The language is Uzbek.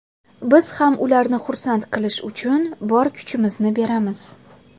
Biz ham ularni xursand qilish uchun bor kuchimizni beramiz.